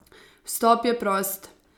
Vstop je prost!